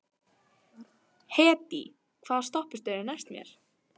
Hedí, hvaða stoppistöð er næst mér?